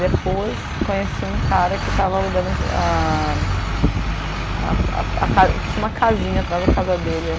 Depois, conheci um cara que estava alugando a a a a ca... Tinha uma casinha atrás da casa dele.